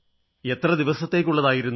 എത്ര ദിവസത്തേക്കുള്ളതായിരുന്നു